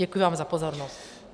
Děkuji vám za pozornost.